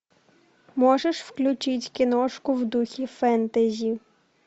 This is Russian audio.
можешь включить киношку в духе фэнтези